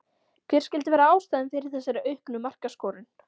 Hver skyldi vera ástæðan fyrir þessari auknu markaskorun?